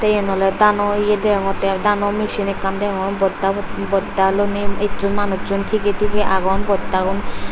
tey yen oley dano ye degongttey i dano mechin ekkan degongor bostabo bosta loney esson manussun tigey tigey agon bostagun.